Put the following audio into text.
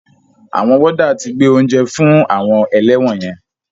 Àwọn wọ́dà ti gbé oúnjẹ fún àwọn ẹlẹ́wọ̀n yẹn.